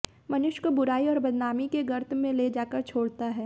मनुष्य को बुराई और बदनामी के गर्त में ले जाकर छोड़ता हैं